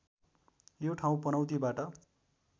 यो ठाउँ पनौतीबाट